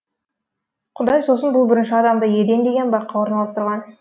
құдай сосын бұл бірінші адамды еден деген баққа орналастырған